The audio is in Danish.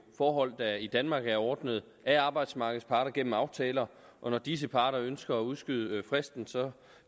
forhold der i danmark er ordnet af arbejdsmarkedets parter gennem aftaler og når disse parter ønsker at udskyde fristen